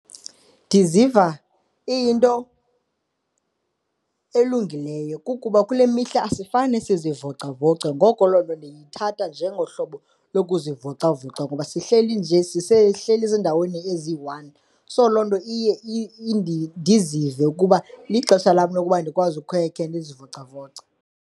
Ndiziva iyinto elungileyo kukuba kule mihla asifane sizivocavoce ngoko loo nto ndithatha njengohlobo lokuzivocavoca ngoba sihleli nje sisehleli ezindaweni eziyi-one. So, loo nto iye ndizive ukuba lixesha lam lokuba ndikwazi ukhe ke ndizivocavoce.